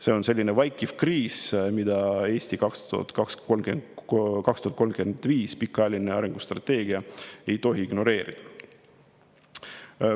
See on selline vaikiv kriis, mida "Eesti 2035", pikaajaline arengustrateegia, ei tohi ignoreerida.